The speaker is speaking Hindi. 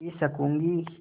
पी सकँूगी